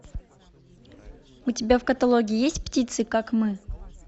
у тебя в каталоге есть птицы как мы